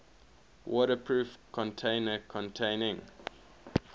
waterproof container containing